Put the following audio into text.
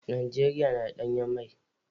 Najeriya na da danyen mai.